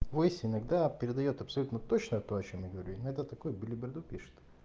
в войсе иногда передаёт абсолютно точно то о чём я говорю иногда такую белиберду пишет